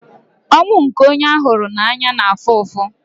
Ọnwụ nke onye a hụrụ n'anya na-afụ ụfụ.